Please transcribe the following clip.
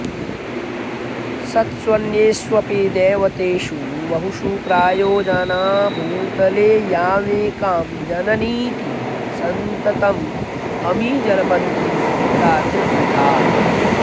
सत्स्वन्येष्वपि दैवतेषु बहुषु प्रायो जना भूतले यामेकां जननीति सन्ततममी जल्पन्ति तादृग्विधा